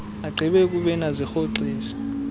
agqibe ukubeni azirhoxise